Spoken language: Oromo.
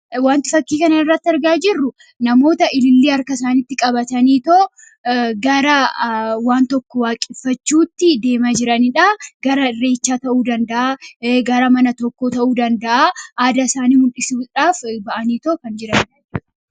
wanti fakkii kan irratti argaa jirru namoota ilillii harka isaanitti qabatanii too gara waan tokko waaqeffachuutti deema jiraniidha. Gara irreechaa ta'uu, danda'a gara mana tokko ta'uu danda'a aada isaanii muldhisuudhaaf ba'anii too kan jiranidha.